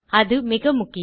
அது மிக முக்கியம்